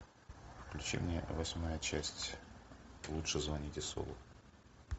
включи мне восьмая часть лучше звоните солу